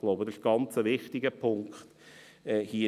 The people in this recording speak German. Ich glaube, dass dies hier ein sehr wichtiger Punkt ist.